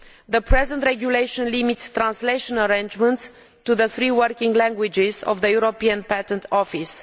The present regulation limits translation arrangements to the three working languages of the European Patent Office.